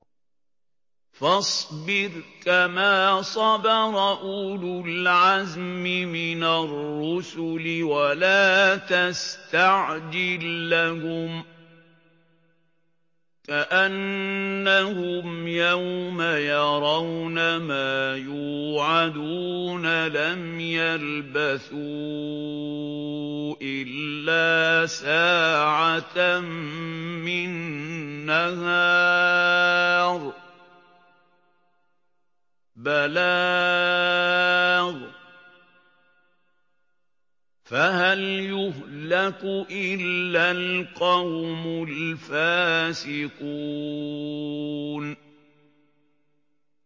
فَاصْبِرْ كَمَا صَبَرَ أُولُو الْعَزْمِ مِنَ الرُّسُلِ وَلَا تَسْتَعْجِل لَّهُمْ ۚ كَأَنَّهُمْ يَوْمَ يَرَوْنَ مَا يُوعَدُونَ لَمْ يَلْبَثُوا إِلَّا سَاعَةً مِّن نَّهَارٍ ۚ بَلَاغٌ ۚ فَهَلْ يُهْلَكُ إِلَّا الْقَوْمُ الْفَاسِقُونَ